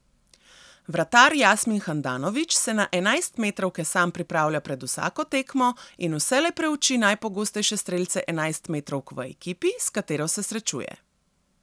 Vratar Jasmin Handanović se na enajstmetrovke sam pripravlja pred vsako tekmo in vselej preuči najpogostejše strelce enajstmetrovk v ekipi, s katero se srečuje.